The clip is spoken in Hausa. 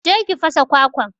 je ka fasa kwakwan.